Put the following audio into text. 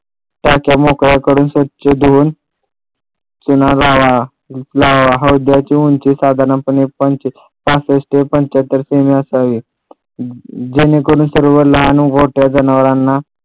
टाक्या मोकळ्या करून व स्वछ धून चुना लावावा लावावा हौदाची उंची साधारणपणे पासष्ट पंचाहत्तर किमी असावी जेणेकरून सर्व लहान व मोठ्या जनावराना